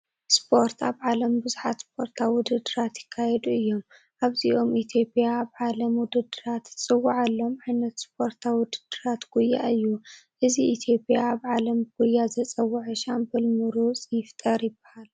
ስፖርት፡- ኣብ ዓለም ብዙሓት ስፖርታዊ ውድድራት ይካየዱ እዮም፡፡ ካብዚኦም ኢ/ያ ኣብ ናይ ዓለም ውድድራት እትፅዋዓሎም ዓ/ት ስፖርታዊ ውድድራት ጉያ እዩ፡፡ እዚ ኢ/ያን ኣብ ዓለም ብጉያ ዘፀወዐ ሻምበል ምሩፅ ይፍጠር ይባሃል፡፡